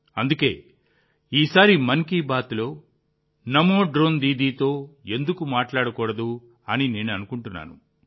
అందుకే ఈసారి మన్ కీ బాత్లో నమో డ్రోన్ దీదీతో ఎందుకు మాట్లాడకూడదని నేను కూడా అనుకున్నాను